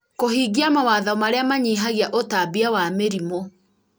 kũhingia mawatho marĩa manyihagia ũtambia wa mĩrimũ